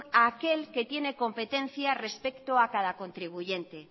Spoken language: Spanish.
a aquel que tiene competencia respecto a cada contribuyente